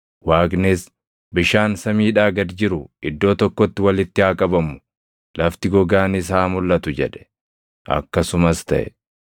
Waaqnis, “Bishaan samiidhaa gad jiru iddoo tokkotti walitti haa qabamu; lafti gogaanis haa mulʼatu” jedhe. Akkasumas taʼe.